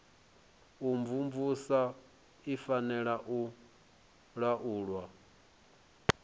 imvumvusa i fanela u laulwa